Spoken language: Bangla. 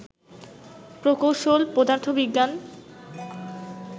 প্রকৌশল, পদার্থবিজ্ঞান